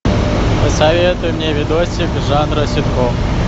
посоветуй мне видосик жанра ситком